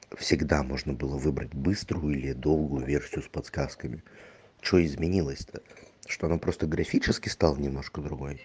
всегда можно было выбрать быструю или долго верхнюю с подсказками что изменилось то что она просто графически стал немножко другой